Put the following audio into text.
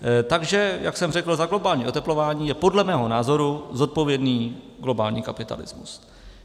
Takže jak jsem řekl, za globální oteplování je podle mého názoru zodpovědný globální kapitalismus.